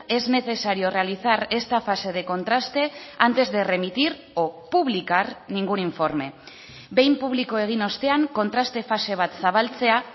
es necesario realizar esta fase de contraste antes de remitir o publicar ningún informe behin publiko egin ostean kontraste fase bat zabaltzea